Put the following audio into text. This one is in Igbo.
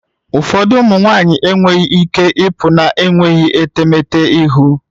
Ụfọdụ ụmụ nwanyị enweghị ike ịpụ na-enweghị etemeete ihu